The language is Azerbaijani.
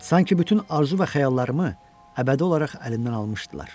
Sanki bütün arzu və xəyallarımı əbədi olaraq əlimdən almışdılar.